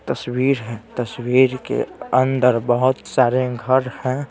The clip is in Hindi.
तस्वीर हैं तस्वीर के अंदर बहुत सारे घर हैं।